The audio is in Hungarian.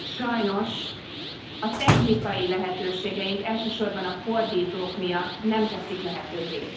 Sajnos a technikai lehetőségeink, elsősorban a fordítók miatt nem teszik lehetővé.